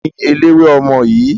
Taàní eléwé ọmọ yìí?